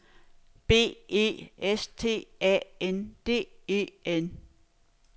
B E S T A N D E N